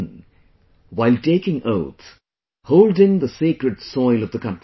in while taking oath, holding the sacred soil of the country